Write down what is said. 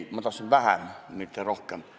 Ei, ma tahtsin vähem, mitte rohkem.